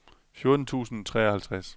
fjorten tusind og treoghalvtreds